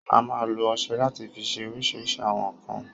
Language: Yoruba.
A máa n lo ọsẹ lati fi ṣe oríṣìíríṣìí àwọn nkan